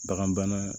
Bagan bana